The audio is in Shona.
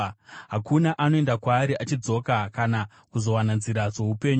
Hakuna anoenda kwaari achidzoka kana kuzowana nzira dzoupenyu.